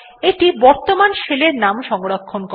এইটি বর্তমান শেলের নাম সংরক্ষণ করে